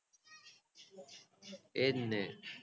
એજ ને